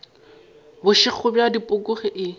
bošego bja dipoko ge e